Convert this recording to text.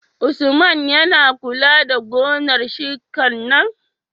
Usman yAna kula da gonar shinkar nan?